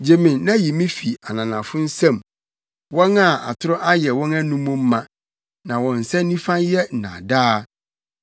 Gye me na yi me fi ananafo nsam, wɔn a atoro ayɛ wɔn anom ma na wɔn nsa nifa yɛ nnaadaa.